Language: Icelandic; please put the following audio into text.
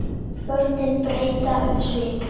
Börnin breyta um svip.